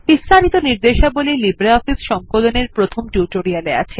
বিস্তারিত নির্দেশাবলী লিব্রিঅফিস সংকলন এর প্রথম টিউটোরিয়াল এ আছে